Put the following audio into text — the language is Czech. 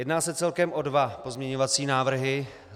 Jedná se celkem o dva pozměňovací návrhy.